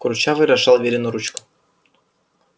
курчавый разжал верину ручку